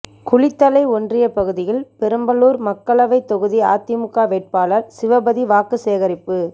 குளித்தலை ஒன்றிய பகுதியில் பெரம்பலூர் மக்களவை தொகுதி அதிமுக வேட்பாளர் சிவபதி வாக்கு சேகரிப்பு